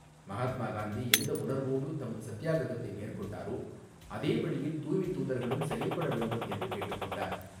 மகாத்மா காந்தி எந்த உணர்வோடு தமது சத்தியாகிரகத்தை மேற்கொண்டாரோ அதே வழியில் தூய்மைத் தூதர்களும் செயல்பட வேண்டும் என்று கேட்டுக்கொண்டார்.